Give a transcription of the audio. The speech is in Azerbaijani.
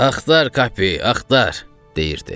Axtar Kappe, axtar, deyirdi.